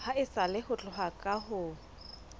haesale ho tloha ka ho